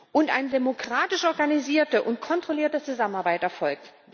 und eine demokratisch organisierte und kontrollierte Zusammenarbeit erfolgt.